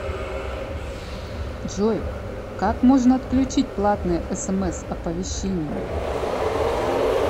джой как можно отключить платные смс оповещения